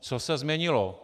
Co se změnilo?